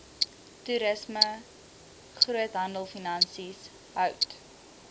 toerisme groothandelfinansies hout